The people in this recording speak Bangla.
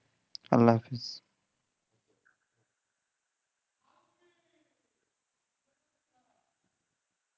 আল্লাহ হাফেজ